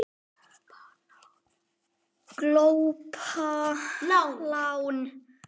Glópa lán